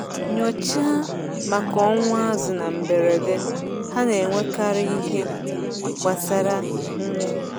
Nyochaa maka ọnwụ azụ̀ na mberede—ha na-enwekarị ihe gbasara mmiri.